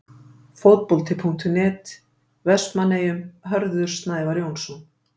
Fótbolti.net, Vestmannaeyjum- Hörður Snævar Jónsson.